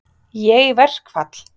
Ég í verkfall?